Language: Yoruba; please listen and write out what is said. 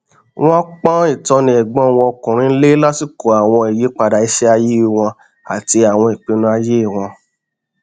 wọn pọn ìtọni ẹgbọn wọn ọkùnrin lé lásìkò àwọn ìyípadà iṣẹ ayé wọn àti àwọn ìpinnu ayé wọn